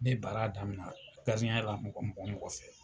Ne baara daminɛ gardiɲɛya la mɔgɔ o mɔgɔ fɛ